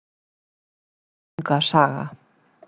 Ynglinga saga.